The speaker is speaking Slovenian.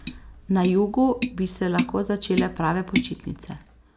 Na jugu bi se lahko začele prave počitnice.